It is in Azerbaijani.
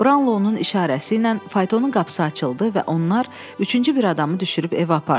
Brownlow-un işarəsi ilə faytonun qapısı açıldı və onlar üçüncü bir adamı düşürüb evə apardılar.